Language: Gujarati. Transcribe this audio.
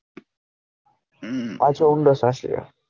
હમ